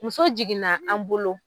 Muso jiginna an bolo